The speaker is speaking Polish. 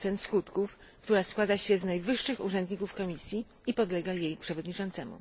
Ocen Skutków, która składa się z najwyższych urzędników Komisji i podlega jej przewodniczącemu.